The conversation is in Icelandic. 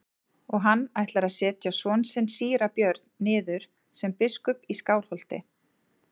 Og hann ætlar að setja son sinn síra Björn niður sem biskup í Skálholti.